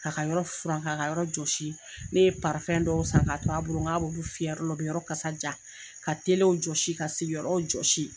K'a ka yɔrɔ furan k'a ka yɔrɔ jɔsi ne ye parifɛn dɔw san ka to a bolo k'a bolo n k'a b'ulu fiyɛ yɔrɔ la o bɛ yɔrɔ kasa jaa ka telewu jɔsi ka sigiyɔrɔw jɔsi.